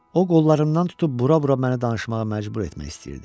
O qollarımdan tutub bura-bura məni danışmağa məcbur etmək istəyirdi.